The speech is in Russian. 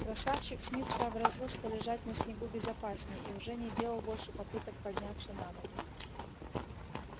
красавчик смит сообразил что лежать на снегу безопаснее и уже не делал больше попыток подняться на ноги